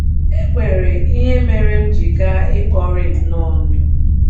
“ E nwere ihe mere m ji gaa — ikpori nnọọ ndụ. ”.